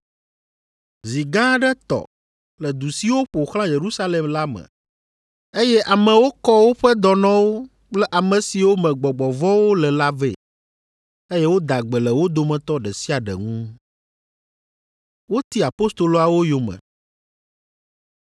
Zi gã aɖe tɔ le du siwo ƒo xlã Yerusalem la me, eye amewo kɔ woƒe dɔnɔwo kple ame siwo me gbɔgbɔ vɔ̃wo le la vɛ, eye woda gbe le wo dometɔ ɖe sia ɖe ŋu.